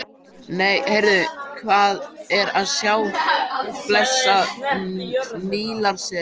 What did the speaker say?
Nei, heyrðu, hvað er að sjá blessað Nílarsefið!